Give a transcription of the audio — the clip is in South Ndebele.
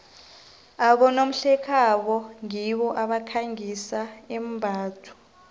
abonomhlekhabo ngibo abakhangisa imbatho